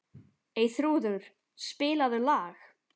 Eyþrúður, spilaðu lag.